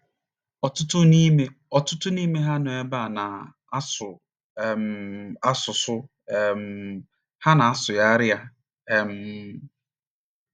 Ọtụtụ n’ime Ọtụtụ n’ime ha nọ n’ebe a na - asụ um asụsụ um ha na - asụgharị ya um.